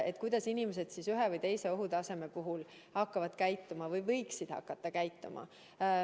Et kuidas inimesed ühe või teise ohutaseme puhul hakkavad käituma või peaksid käituma.